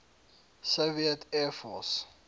soviet air force